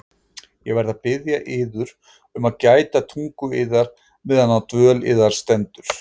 Ég verð að biðja yður um að gæta tungu yðar meðan á dvöl yðar stendur.